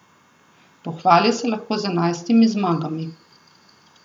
Pohvali se lahko z enajstimi zmagami.